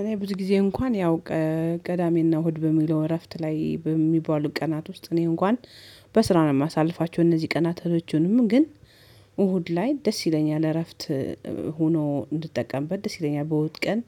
እኔ ብዙ ጊዜ እንኳን ያው ቀዳሚና እሁድ በሚለው እረፍት ላይ በሚባሉት ቀናት ውስጥ እኔ እንኳን በስራ ነው የማሳልፋቸው እነዚህ ቀናቶቹንም ግን እሁድ ላይ ደስ ይለኛል። እረፍት ሆኖ እንድትጠቀምበት ደስተኛ በውጥ ቀን